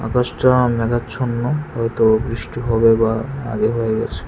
আকাশটা মেঘাচ্ছন্ন হয়তো বৃষ্টি হবে বা আগে হয়ে গেছে।